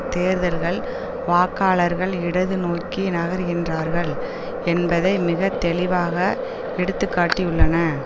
தேர்தல்கள் வாக்காளர்கள் இடது நோக்கி நகர்கின்றார்கள் என்பதை மிக தெளிவாக எடுத்துக்காட்டியுள்ளன